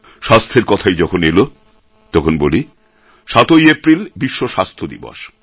স্বাস্থ্যর কথাই যখন এল তখন বলি ৭ এপ্রিল বিশ্ব স্বাস্থ্য দিবস